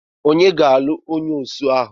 Ònye ga-alụ onye osu ahụ?